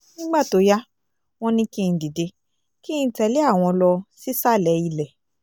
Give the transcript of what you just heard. nígbà tó yá wọ́n ní kí n dìde kí n tẹ̀lé àwọn lọ sísàlẹ̀ ilẹ̀